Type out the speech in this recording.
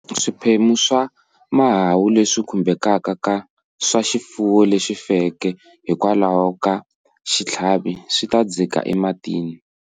Swiphemu swa mahahu leswi khumbhekaka swa xifuwo lexi feke hikwalaho ka xitlhavi swi ta dzika ematini.